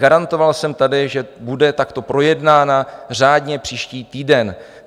Garantoval jsem tady, že bude takto projednána řádně příští týden.